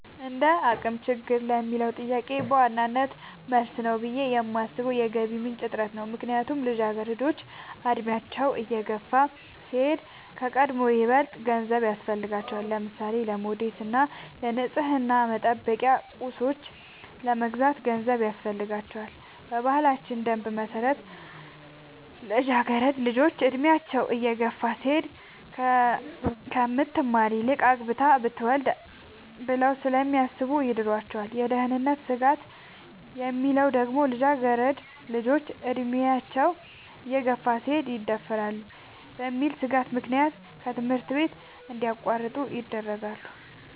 እንደአቅም ችግር ለሚለው ጥያቄ በዋናነት መልስ ነው ብሌ የማሥበው የገቢ ምንጭ እጥረት ነው። ምክንያቱም ልጃገረዶች አድሚያቸው እየገፋ ሲሄድ ከቀድሞው ይበልጥ ገንዘብ ያሥፈልጋቸዋል። ለምሳሌ:-ለሞዴስ እና ንፅህናን መጠበቂያ ቁሳቁሶች ለመግዛት ገንዘብ ያሥፈልጋል። በባህላችን ደንብ መሠረት ልጃገረድ ልጆች እድሚያቸው እየገፋ ሲሄድ ከምትማር ይልቅ አግብታ ትውለድ ብለው ስለሚያሥቡ ይድሯቸዋል። የደህንነት ስጋት የሚለው ደግሞ ልጃገረድ ልጆች አድሚያቸው እየገፋ ሲሄድ ይደፈራሉ በሚል ሥጋት ምክንያት ከትምህርታቸው እንዲያቋርጡ ይደረጋሉ።